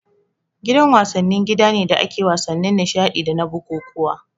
Gidan wasanni gida ne da ake wasannin nishadi dana bukukkuwa